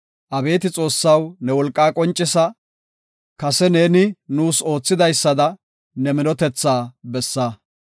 Abeeti Xoossaw, ne wolqaa qoncisa; kase ne nuus oothidaysada, ne minotetha bessa.